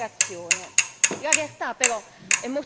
risollevare le sorti di un'intera generazione.